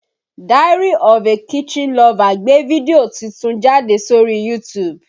Diaryofakitchenlover gbé fídíò titun jáde sórí YouTube